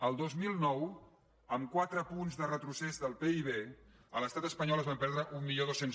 el dos mil nou amb quatre punts de retrocés del pib a l’estat espanyol es van perdre mil dos cents